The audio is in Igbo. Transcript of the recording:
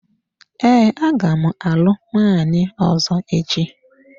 Ee, aga m alụ nwaanyi ọzọ echi.